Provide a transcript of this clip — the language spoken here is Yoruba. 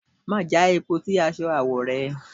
Má já epo sí aṣọ awo rẹ!